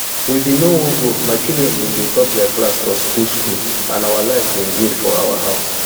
we bin no wan go my children bin dey top dia class for school school and our life bin good for our house